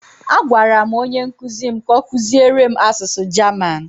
A gwara m onye nkuzi m ka ọ kuziere m asụsụ German.